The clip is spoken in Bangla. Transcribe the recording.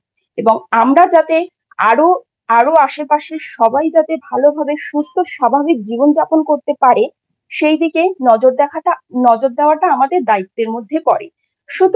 এবং আমরা যাতে আরও আরও আশেপাশের সবাই যাতে ভাল ভাবে সুস্থ স্বাভাবিক জীবন যাপন করতে পারে সেই দিকে নজর রাখাটা নজর দেওয়াটা আমাদের দায়িত্বের মধ্যে পড়ে। সুতরাং